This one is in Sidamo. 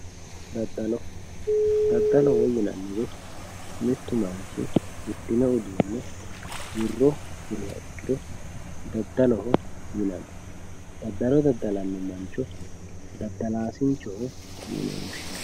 daddalo, daddaloho yinannihu mittu manchi hidhinno uduunne wirro hirrannoha ikkiro daddaloho yinanni ,daddalo daddalanno mancho daddalaasinchoho yine woshshinanni.